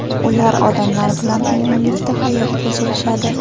Ular odamlar bilan uyg‘unlikda hayot kechirishadi.